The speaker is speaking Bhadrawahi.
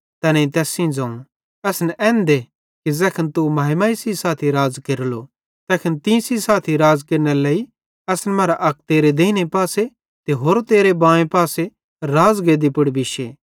तैनेईं तैस सेइं ज़ोवं असन एन दे कि ज़ैखन तू महिमा सेइं साथी राज़ केरलो तैखन तीं सेइं साथी राज़ केरनेरे लेइ असन मरां अक तेरे देइने पासे त होरो तेरे बाएं पासे राज़गेद्दी पुड़ बिश्शे